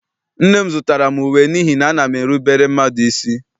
Nne m zụtara m uwe n'ihi na ana m erubere mmadụ isi.